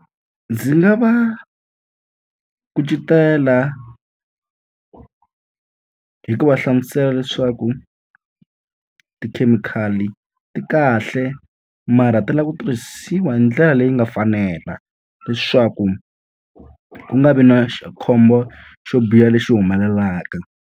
Ndzi nga va kucetela hi ku va hlamusela leswaku tikhemikhali ti kahle mara ta lava ku tirhisiwa hi ndlela leyi nga fanela. Leswaku ku nga vi na xi khombo xo biha lexi humelelaka.